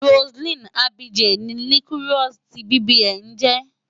Roseline Afije ni Liquorose ti BBN ń jẹ́.